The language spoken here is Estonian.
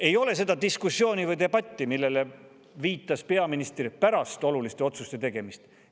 Ei ole seda diskussiooni või debatti, millele viitas peaminister, pärast oluliste otsuste tegemist.